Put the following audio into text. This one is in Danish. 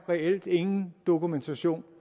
reelt ingen dokumentation